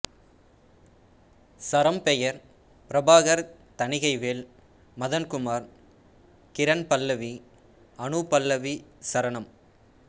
சரம் பெயர் பிரபாகர் தணிகைவேல் மதன் குமார் கிரண் பல்லவி அனுபல்லவிசரணம்